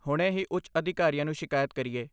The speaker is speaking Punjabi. ਹੁਣੇ ਹੀ ਉੱਚ ਅਧਿਕਾਰੀਆਂ ਨੂੰ ਸ਼ਿਕਾਇਤ ਕਰੀਏ।